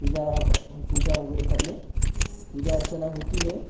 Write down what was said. पूजा आ पूजा वगैरह करने पूजा अर्चना होती है ।